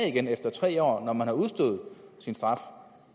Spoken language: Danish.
igen efter tre år når man har udstået sin straf